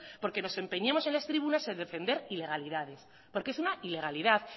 porque nos empeñemos en las tribunas en defender ilegalidades porque es una ilegalidad